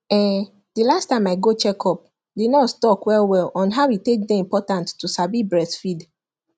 um the last time i go check up the nurse talk well well on how e take day important to sabi breastfeed